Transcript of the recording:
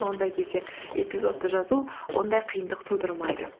ондай кезде эпизодты жазу ондай қиындық тудырмайды